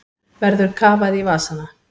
Verður kafað í vasana